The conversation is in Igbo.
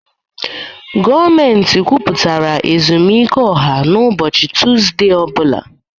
Gọọmentị kwupụtara ezumike ọha na ubochi Tuzdee o bula.